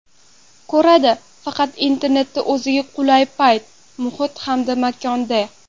Ko‘radi faqat internetda o‘ziga qulay payt, muhit hamda makonda.